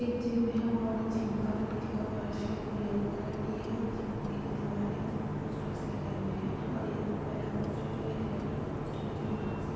एक जिम है और जिम का जो नीचे का फर्श हैवह येलो कलर की हैऔर जिम की जो दीवार है उसमें पोस्टर्स लगे हुए हैंऔर एक पहले पोस्टर जो एक लड़की का पोस्टर हैजो हाथ से--